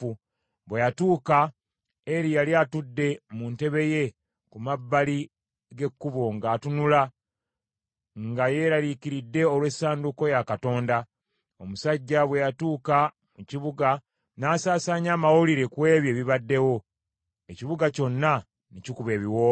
Bwe yatuuka, Eri yali atudde mu ntebe ye ku mabbali g’ekkubo ng’atunula, nga yeeraliikiridde olw’essanduuko ya Katonda. Omusajja bwe yatuuka mu kibuga n’asaasaanya amawulire ku ebyo ebibaddewo, ekibuga kyonna ne kikuba ebiwoobe.